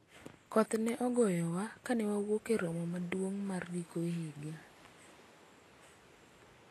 koth ne ogoyowa kane wawuok e romo maduong' mar giko higa